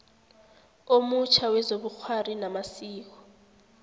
omutjha wezobukghwari namasiko